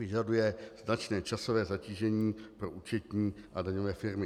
Vyžaduje značné časové zatížení pro účetní a daňové firmy.